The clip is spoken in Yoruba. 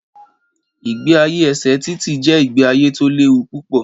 Ìgbé ayé ẹsẹ títì jé ìgbé ayé tó léwu púpọ̀